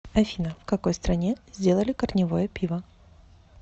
афина в какой стране сделали корневое пиво